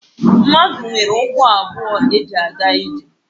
Mmadụ nwere ụkwụ abụọ eji aga ije